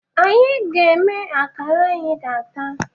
Anyị ga-eme akara anyị ga-ata